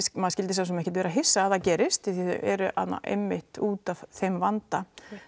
maður skyldi svosem ekkert vera hissa að það gerist því þau eru þarna einmitt útaf þeim vanda